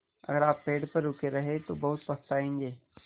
अगर आप पेड़ पर रुके रहे तो बहुत पछताएँगे